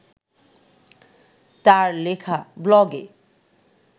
তাঁর লেখা ব্লগে